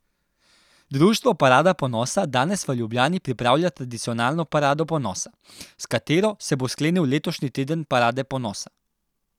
Društvo parada ponosa danes v Ljubljani pripravlja tradicionalno parado ponosa, s katero se bo sklenil letošnji teden parade ponosa.